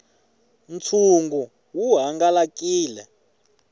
ntshungu wu hangalakile